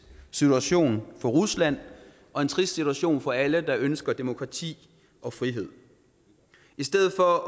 situation for rusland og en trist situation for alle der ønsker demokrati og frihed i stedet for at